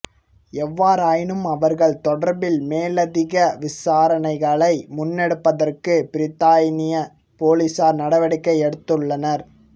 எவ்வாறாயினும் அவர்கள் தொடர்பில் மேலதிக விசாரணைகளை முன்னெடுப்பதற்கு பிரித்தானிய பொலிஸார் நடவடிக்கை எடுத்துள்ளனர்